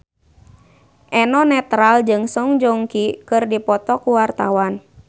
Eno Netral jeung Song Joong Ki keur dipoto ku wartawan